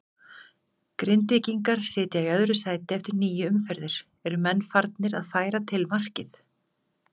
Grindvíkingar sitja í öðru sæti eftir níu umferðir, eru menn farnir að færa til markmið?